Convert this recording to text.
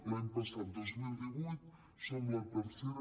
l’any passat dos mil divuit som la tercera